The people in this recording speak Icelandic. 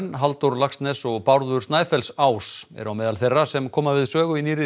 Halldór Laxness og Bárður Snæfellsás eru á meðal þeirra sem koma við sögu í nýrri